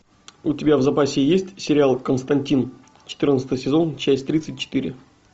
у тебя в запасе есть сериал константин четырнадцатый сезон часть тридцать четыре